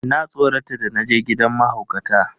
Na tsorata da naje gidan mahaukata.